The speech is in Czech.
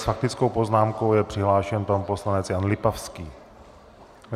S faktickou poznámkou je přihlášen pan poslanec Jan Lipavský.